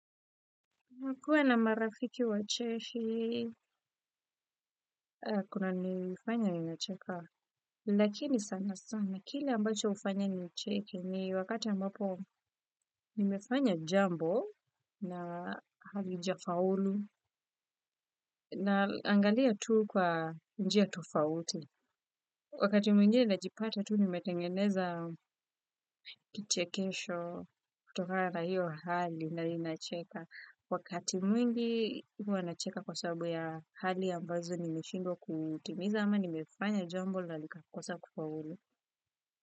Nakua na marafiki wacheshi, kunanifanya ninacheka, lakini sana sana. Kile ambacho ufanya nicheke ni wakati ambapo nimefanya jambo na halija faulu naangalia tuu kwa njia tofauti. Wakati mwingine najipata tuu nimetengeneza kichekesho kutokana na hiyo hali na ninacheka. Wakati mwingi huwa nacheka kwa sababu ya hali ambazo nimeshindwa kutimiza ama nimefanya jambo na likakosa kufaulu.